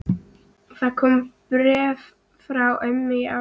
Það kom bréf frá ömmu í Ameríku.